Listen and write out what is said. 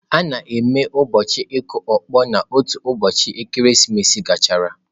A na-eme ụbọchị ịkụ ọkpọ n'otu ụbọchị ekeresimesi gachara